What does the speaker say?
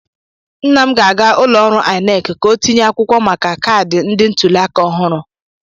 Nna m ga-aga ụlọọrụ INEC ka ọ tinye akwụkwọ maka kaadị ndị ntuliaka ọhụrụ.